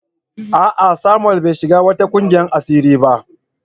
A'a Samuel bai shiga wata kungiyar asiri ba